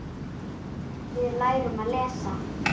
Við lærum að lesa.